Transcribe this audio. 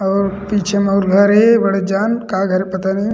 और पीछे मोर घर हे बड़े जान का घर पता नहीं--